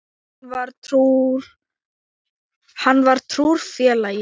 Hann var trúr félagi.